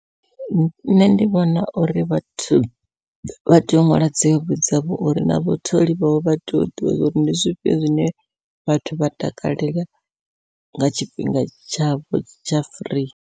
Nṋe ndi vhona uri vhathu vha tea u ṅwala dzi hobby dzavho uri na vhatholi vhavho vha tea u ḓivha zwa uri ndi zwifhio zwine vhathu vha takalela nga tshifhinga tshavho tsha firii.